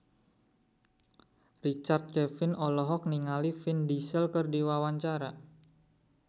Richard Kevin olohok ningali Vin Diesel keur diwawancara